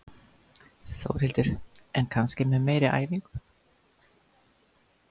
Þórhildur: En kannski með meiri æfingu?